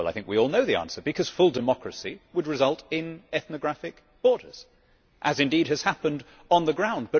Well, I think we all know the answer because full democracy would result in ethnographic borders, as indeed has happened on the ground.